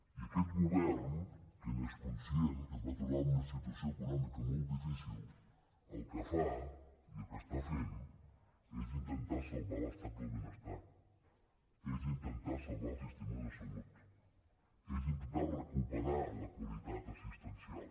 i aquest govern que n’és conscient que es va trobar una situació econòmica molt difícil el que fa i el que està fent és intentar salvar l’estat del benestar és intentar salvar el sistema de salut és intentar recuperar la qualitat assistencial